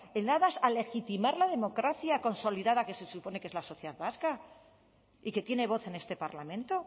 en aras a legitimar la democracia consolidada que se supone que es la sociedad vasca y que tiene voz en este parlamento